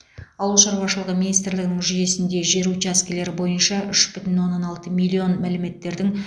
ауыл шаруашылығы министрлігінің жүйесінде жер учаскелері бойынша үш бүтін оннан алты миллион мәліметтердің